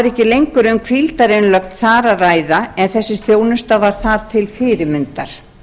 er ekki lengur um hvíldarinnlögn þar að ræða en þessi þjónusta var þar til fyrirmyndar